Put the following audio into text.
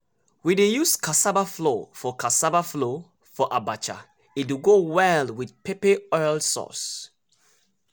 we dey use cassava flour for cassava flour for abacha e dey go well with pepper oil sauce.